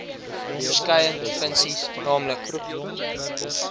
verskeie funksies nl